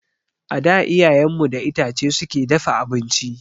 A da iyayen mu da itace suke dafa abinci